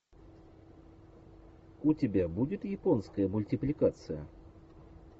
у тебя будет японская мультипликация